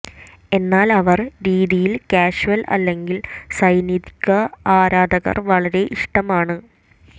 എന്നാൽ അവർ രീതിയിൽ കാഷ്വൽ അല്ലെങ്കിൽ സൈനിക ആരാധകർ വളരെ ഇഷ്ടമാണ്